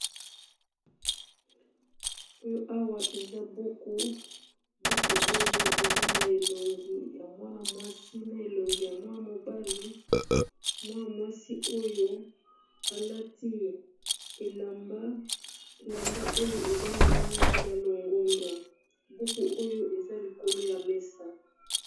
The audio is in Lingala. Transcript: Oyo awa eza buku, buku oyo eza na elongi ya mwana mwasi na elongi ya mwa mobali, mwana mwasi oyo alati elamba oyo eza na langi ya longondo buku oyo eza likolo ya mesa.